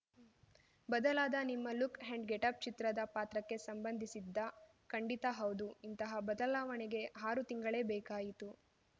ಬದಲಾದ ನಿಮ್ಮ look and getup ಚಿತ್ರದ ಪಾತ್ರಕ್ಕೆ ಸಂಬಂಧಿಸಿದ್ದಾ ಖಂಡಿತಾ ಹೌದು ಇಂತಹ ಬದಲಾವಣೆಗೆ ಆರು ತಿಂಗಳೇ ಬೇಕಾಯಿತು